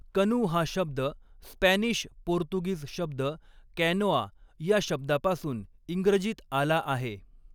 कनू हा शब्द स्पॅनिश पोर्तुगीज शब्द कॅनोआ या शब्दापासून इंग्रजीत आला आहे.